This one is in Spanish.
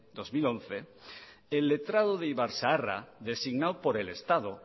dos mil once el letrado de ibarzaharra designado por el estado